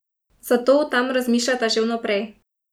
Zato o tem razmišljata že vnaprej.